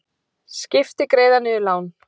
Skipti greiða niður lán